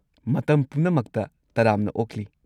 ꯃꯇꯝ ꯄꯨꯝꯅꯃꯛꯇ ꯇꯔꯥꯝꯅ ꯑꯣꯛꯂꯤ!